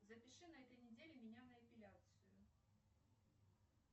запиши на этой неделе меня на эпиляцию